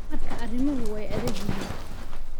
Markaa arrimuhu way adag yihiin.